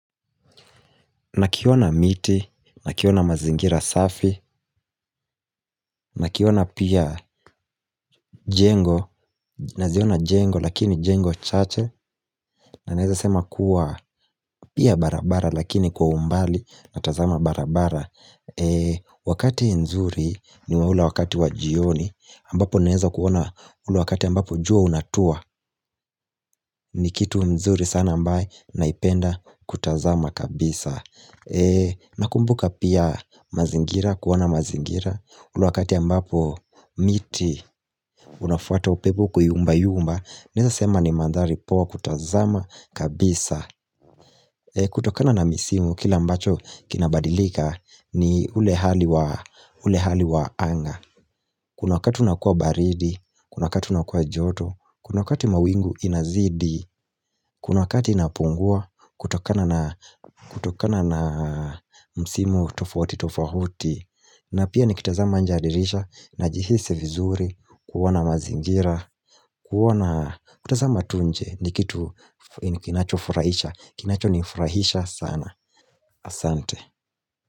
Nakiona miti, nakiona mazingira safi, nakiona pia jengo, naziona jengo lakini jengo chache na naweza sema kuwa pia barabara lakini kwa umbali natazama barabara Wakati nzuri ni wa ule wakati wa jioni, ambapo naeza kuona ule wakati ambapo jua unatua ni kitu nzuri sana ambaye naipenda kutazama kabisa Nakumbuka pia mazingira, kuona mazingira ule wakati ambapo miti unafuata upepo kuyumbayumba, naweza sema ni mandhari poa kutazama kabisa kutokana na misimu kile ambacho kinabadilika ni ule hali wa anga Kuna wakati unakuwa baridi, kuna wakati unakuwa joto. Kuna wakati mawingu inazidi, kuna wakati inapungua kutokana na kutokana na msimu tofauti tofauti na pia nikitazama nje ya dirisha, najihisi vizuri kuona mazingira, kuona, kutazama tu nje ni kitu kinachofurahisha, kinachonifurahisha sana. Asante.